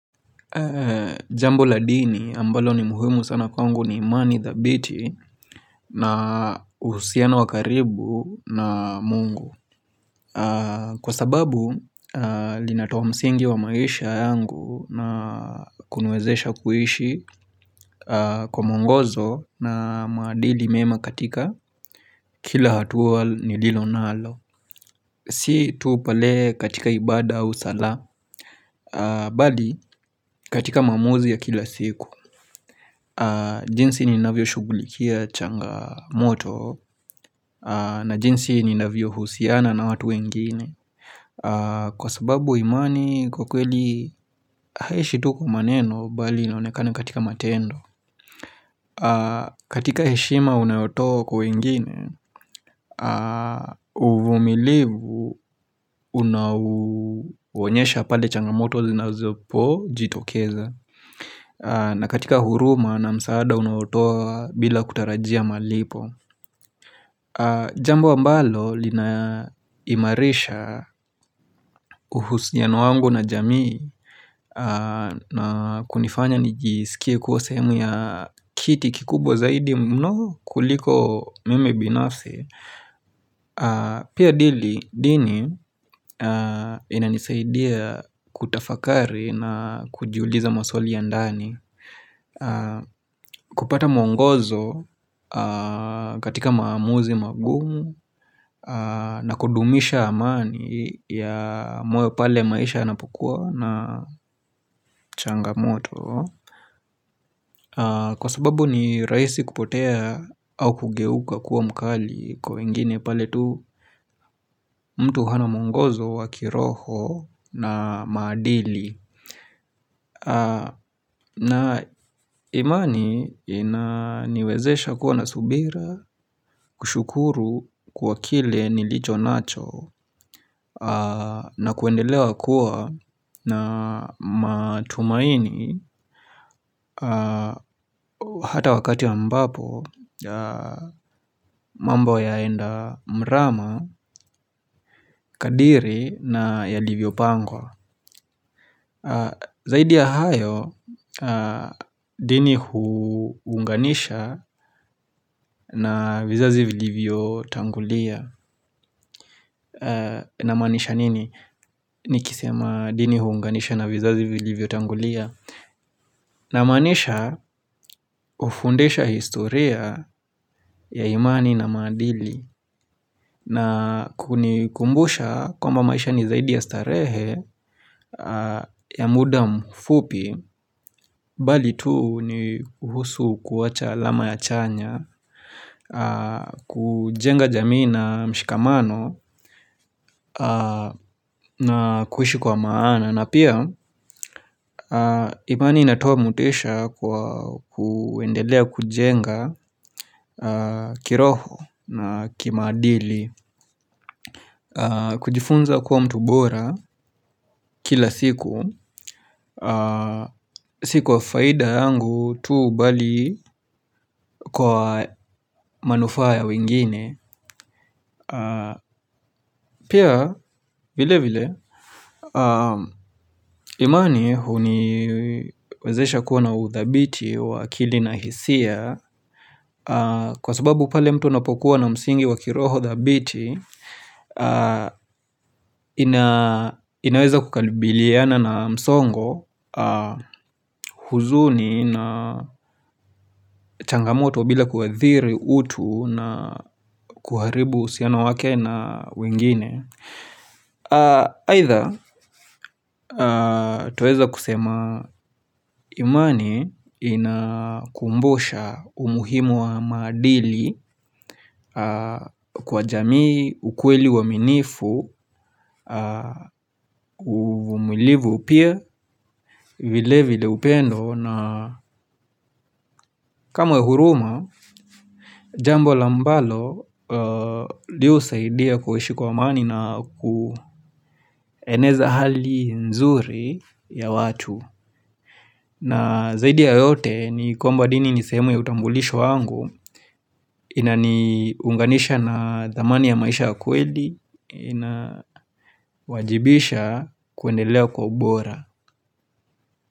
Jambo la dini ambalo ni muhimu sana kwangu ni imani thabiti na uhusiano wa karibu na mungu Kwa sababu linatoa msingi wa maisha yangu na kuniwezesha kuishi kwa mwongozo na maadili mema katika kila hatua niliyonalo Si tu pale katika ibada au sala, bali katika maamuzi ya kila siku jinsi ninavyoshughulikia changamoto na jinsi ninavyohusiana na watu wengine Kwa sababu imani kwa kweli haishi tu kwa maneno bali inonekana katika matendo katika heshima unayotoa kwa wengine uvumilivu unaonyesha pale changamoto zinazopojitokeza na katika huruma na msaada unaotoa bila kutarajia malipo Jambo ambalo linaimarisha uhusino wangu na jamii na kunifanya nijisikie kuwa sehemu ya kiti kikubwa zaidi mno kuliko mimi binafsi Pia dini inanisaidia kutafakari na kujiuliza maswali ya ndani kupata mwongozo katika maamuzi magumu na kudumisha amani ya moyo pale maisha yanapokuwa na changamoto Kwa sababu ni rahisi kupotea au kugeuka kuwa mkali Kwa wengine pale tu mtu hana mwongozo wa kiroho na maadili na imani inaniwezesha kuwa na subira kushukuru kwa kile nilicho nacho na kuendelea kuwa na matumaini Hata wakati ambapo mambo yaenda mrama, kadri na yalivyopangwa Zaidi ya hayo dini huunganisha vizazi vilivyotangulia na maanisha nini? Nikisema dini hunganisha na vizazi vilivyotangulia na maanisha hufundisha historia ya imani na maadili na kunikumbusha kwamba maisha ni zaidi ya starehe ya muda mfupi Bali tu ni kuhusu kuwacha alama ya chanya kujenga jamii na mshikamano na kuishi kwa maana na pia imani inatoa motisha kwa kuendelea kujenga kiroho na kimaadili kujifunza kuwa mtu bora kila siku Si kwa faidha yangu tuu bali kwa manufaa ya wengine Pia vilevile imani huniwezesha kuwa na uthabiti wa akili na hisia Kwa sababu pale mtu anapokuwa na msingi wa kiroho thabiti inaweza kukabiliana na msongo huzuni na changamoto bila kuathiri utu na kuharibu uhusiano wake na wengine Either twaweza kusema imani Inakumbusha umuhimu wa maadili kwa jamii ukweli uaminifu umilivu pia vilevile upendo ni kama huruma jambo ambalo husaidia kuishi kwa amani na kueneza hali nzuri ya watu na zaidi ya yote ni kwamba dini ni sehemu ya utambulisho wangu inaniunganisha na thamani ya maisha kweli inawajibisha kwendelea kwa ubora.